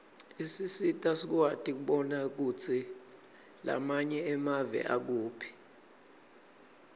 isisita sikwati kubona kutsi lamanye emave akuphi